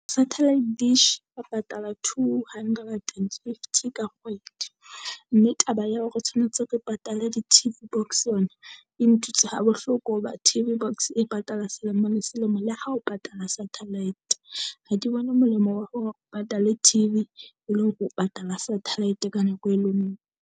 Satellite dish re patala two hundred and fifty ka kgwedi, mme taba ya o tshwanetse re patale di-T_V box yona e ntuse ha bohloko. Hoba T_V box e patala selemo le selemo le ha o patala satellite. Ha ke bone molemo wa hore o patale T_V e le hore o patala satellite ka nako e le ngwe.